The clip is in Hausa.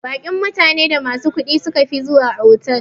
Baƙin mutane da masu kudi sukafi zuwa otal.